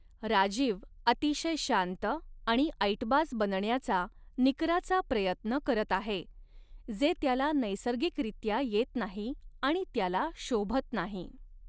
राजीव अतिशय शांत आणि ऐटबाज बनण्याचा, निकराचा प्रयत्न करत आहे, जे त्याला नैसर्गिकरित्या येत नाही आणि त्याला शोभत नाही.